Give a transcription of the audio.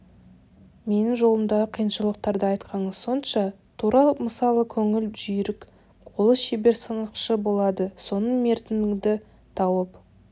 менің жолымдағы қиыншылықтарды айтқаныңыз сонша тура мысалы көңілі жүйрік қолы шебер сынықшы болады соның мертігіңді тауып